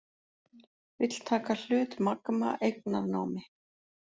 Vill taka hlut Magma eignarnámi